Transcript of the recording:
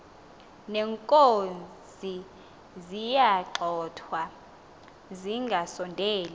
neenkozi ziyagxothwa zingasondeli